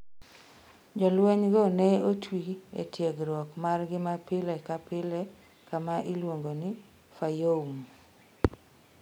Jolwenygo ne otwi e tiegruok margi mapile ka pile kama iluongo ni Fayoum.